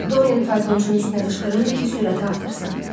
Doryan faytonçunun üstünə qışqırırdı ki, sürəti artırsın.